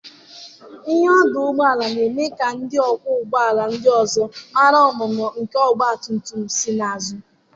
Ìhè ọdụ ụgbọala na-eme ka ndị ọkwọ ụgbọala ndị ọzọ mara ọnụnọ nke ọgba tum tum si n'azụ.